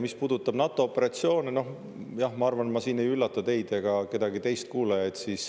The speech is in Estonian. Mis puudutab NATO operatsioone, siis jah, ma arvan, et ma siin ei üllata teid ega kedagi teist.